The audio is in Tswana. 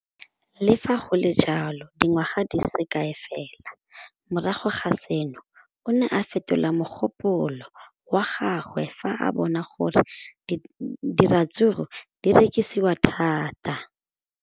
Le fa go le jalo, dingwaga di se kae fela morago ga seno, o ne a fetola mogopolo wa gagwe fa a bona gore diratsuru di rekisiwa thata.